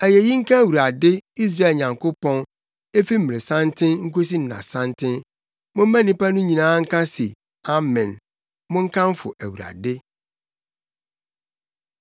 Ayeyi nka Awurade, Israel Nyankopɔn, emfi mmeresanten nkosi nnasanten. Momma nnipa no nyinaa nka se, “Amen!” Monkamfo Awurade.